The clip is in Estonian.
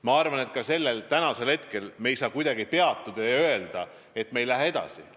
Ma arvan, et me ei saa praegu kuidagi peatuda ja öelda, et me ei lähe edasi.